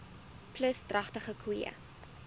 plus dragtige koeie